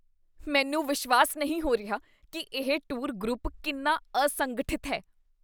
ਮੈਨੂੰ ਵਿਸ਼ਵਾਸ ਨਹੀਂ ਹੋ ਰਿਹਾ ਕੀ ਇਹ ਟੂਰ ਗਰੁੱਪ ਕਿੰਨਾ ਅਸੰਗਠਿਤ ਹੈ।